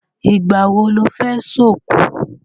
Ìgbà wo lẹ fẹ́ ṣòkú?